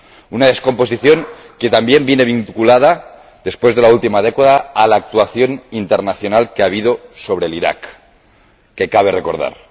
una descomposición que también viene vinculada, después de la última década, a la actuación internacional que ha habido sobre Irak, y que cabe recordar.